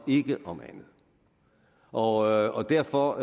ikke om andet og derfor